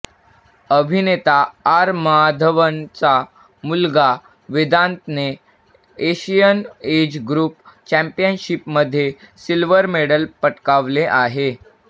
अभिनेता आर माधवनचा मुलगा वेदांतने एशियन एज ग्रुप चॅम्पियनशिपमध्ये सिल्वर मेडल पटकावले आहे